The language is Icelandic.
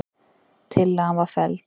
Tillagan var felld.